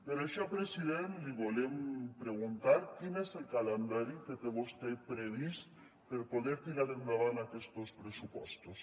per això president li volem preguntar quin és el calendari que té vostè previst per poder tirar endavant aquestos pressupostos